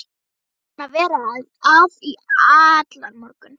Búin að vera að í allan morgun.